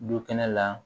Du kɛnɛ la